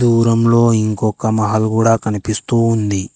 దూరంలో ఇంకొక మహల్ గూడ కనిపిస్తూ ఉంది.